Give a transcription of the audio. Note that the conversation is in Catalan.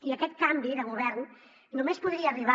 i aquest canvi de govern només podria arribar